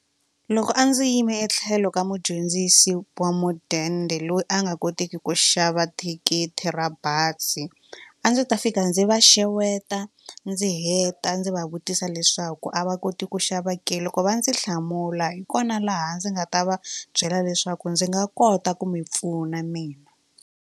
Loko a ndzi yime etlhelo ka mudyondzisi wa mudende loyi a nga koteki ku xava thikithi ra bazi a ndzi ta fika ndzi va xeweta ndzi heta ndzi va vutisa leswaku a va koti ku xava keal loko va ndzi hlamula hi kona laha ndzi nga ta va byela leswaku ndzi nga kota ku mi pfuna mina.